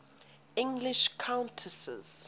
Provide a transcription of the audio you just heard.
english countesses